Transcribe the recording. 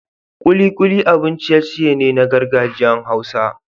Kulikuli abun ciye-ciye ne na gargajiyar hausa.